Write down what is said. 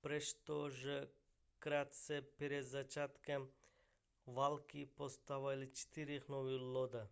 přesto že krátce před začátkem války postavili čtyři nové lodě